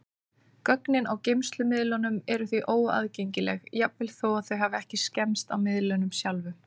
Gögnin á geymslumiðlunum eru því óaðgengileg, jafnvel þó þau hafi ekki skemmst á miðlinum sjálfum.